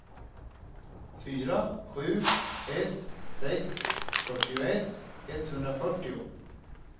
fyra sju ett sex fyrtioett etthundrafyrtio